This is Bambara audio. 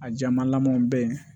A jamalamaw bɛ yen